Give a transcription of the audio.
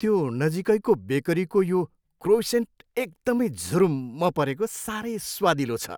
त्यो नजिकैको बेकरीको यो क्रोइसेन्ट एकदमै झुरुम्म परेको सारै स्वादिलो छ।